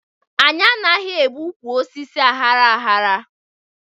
Anyị anaghị egbu ụkwụ osisi aghara aghara